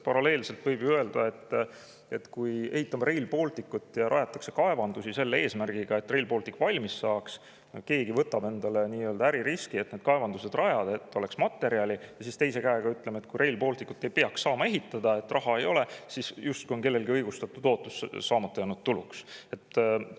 Paralleelselt võib et me ehitame Rail Balticut ja rajame kaevandusi selle eesmärgiga, et Rail Baltic valmis saaks – keegi võtab endale äririski ja rajab need kaevandused, et oleks materjali –, aga siis ütleme, et kui Rail Balticut ei peaks saama ehitada, sest raha ei ole, on kellelgi õigustatud ootus saamata jäänud tulu.